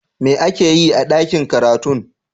Me ake yi a dakin karatun?